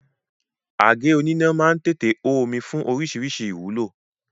Àgé oníná má ń tètè hó omi fún oríṣiríṣi ìwúlò